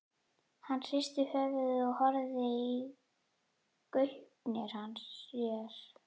Hann hristi höfuðið og horfði í gaupnir sér.